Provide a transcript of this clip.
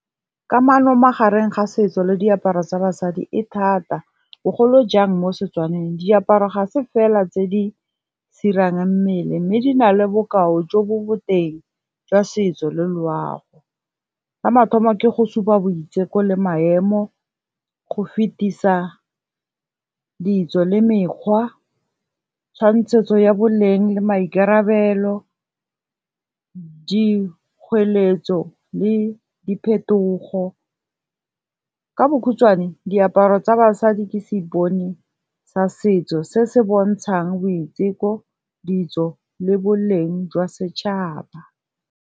Kamano magareng ga setso le diaparo tsa basadi e thata, bogolo jang mo Setswaneng diaparo ga se fela tse di sirang mmele mme di na le bokao jo bo boteng jwa setso le loago. Sa mathomo ke go supa boiteko le maemo, go fetisa ditso le mekgwa, tshwantshetso ya boleng le maikarabelo, dikgweletso le diphetogo. Ka bokhutswane diaparo tsa basadi ke seipone sa setso se se bontshang boiteko, ditso le boleng jwa setšhaba.